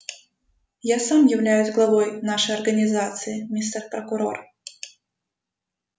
я сам являюсь главой нашей организации мистер прокурор